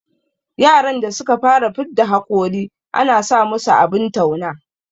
Yaran da suka fara fidda hakori ana sa musu abin tauna